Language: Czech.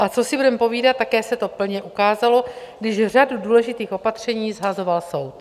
A co si budeme povídat, také se to plně ukázalo, když řadu důležitých opatření shazoval soud.